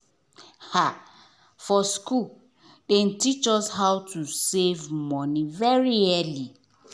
for school dem teach us how to save money very early.